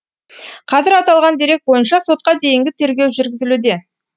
қазір аталған дерек бойынша сотқа дейінгі тергеу жүргізілуде